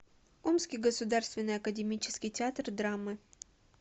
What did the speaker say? омский государственный академический театр драмы